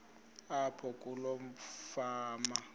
apho kuloo fama